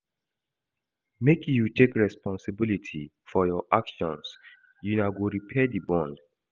Make you take responsibility for your actions, una go repair di bond.